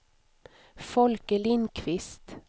Folke Lindquist